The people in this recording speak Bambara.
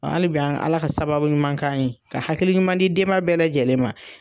Halibi an Ala ka sababu ɲuman k'an ye, ka hakili ɲuman di denba bɛɛ lajɛlen ma.